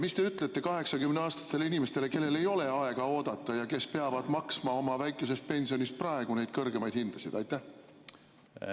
Mis te ütlete 80‑aastastele inimestele, kellel ei ole aega oodata ja kes peavad maksma oma väikesest pensionist praegu neid kõrgemaid hindasid kinni?